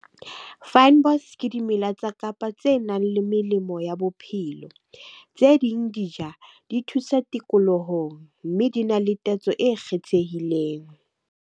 Fynbos ke dimela tsa Kapa tse nang le melemo ya bophelo. Tse ding di ja, di thusa tikoloho mme di na le tatso e kgethehileng.